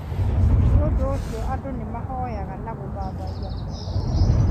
Nĩũndũ ũcio andũ nĩmahoyaga na gũthathaiya Ngai